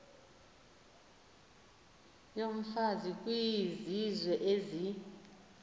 yomfazi kwizizwe ezi